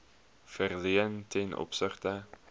verleen ten opsigte